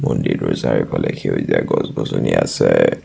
মন্দিৰটোৰ চাৰিওফালে সেউজীয়া গছ-গছনি আছে।